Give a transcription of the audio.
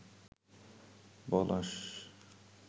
পলাশ